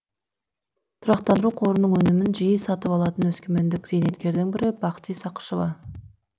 тұрақтандыру қорының өнімін жиі сатып алатын өскемендік зейнеткердің бірі бақти сақышева